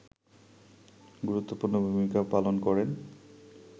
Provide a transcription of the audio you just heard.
গুরুত্বপূর্ণ ভূমিকা পালন করেন